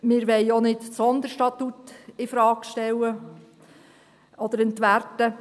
Wir wollen auch nicht das Sonderstatut infrage stellen oder entwerten.